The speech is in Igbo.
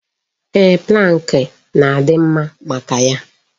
Eeh, pụlank na-adị mma maka ya.